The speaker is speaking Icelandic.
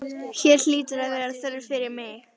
Hér hlýtur að vera þörf fyrir mig.